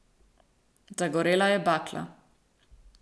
Zagorela je bakla.